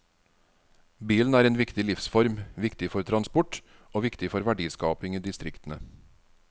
Bilen er viktig for livsform, viktig for transport og viktig for verdiskaping i distriktene.